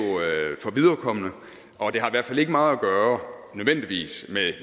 for viderekomne og det har i hvert fald ikke meget at gøre nødvendigvis med